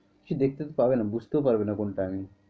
সে দেখতে তো পারবেনা বুঝতেও পারবে না কোনটা আমি।